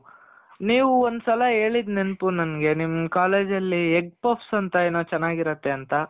ನೀವು ಒಂದು ಸಲ ಹೇಳಿದ್ ನೆನಪು ನನ್ಗೆ, ನಿಮ್ college ಅಲ್ಲಿ egg puffs ಅಂತ ಏನೋ ಚೆನಾಗಿರುತ್ತಂತ